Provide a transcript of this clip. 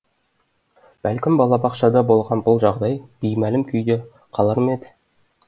бәлкім балабақшада болған бұл жағдай беймәлім күйде қалар ма еді